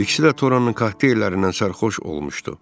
İkisi də Toranın kokteyllərindən sərxoş olmuşdu.